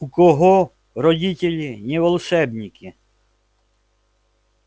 у кого родители не волшебники